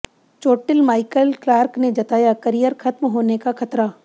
चोटिल Michael Clarke ने जताया करियर खत्म होने का खतरा